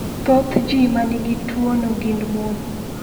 Thoth ji ma nigi tuwono gin mon.